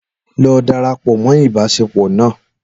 Lọ darapọ mọ ibaṣepọ na